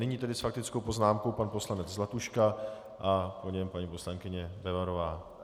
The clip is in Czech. Nyní tedy s faktickou poznámkou pan poslanec Zlatuška, a po něm paní poslankyně Bebarová.